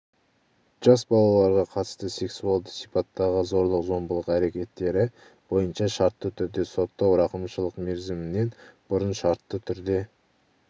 жас балаларға қатысты сексуалды сипаттағы зорлық-зомбылық әрекеттері бойынша шартты түрде соттау рақымшылық мерзімінен бұрын шартты түрде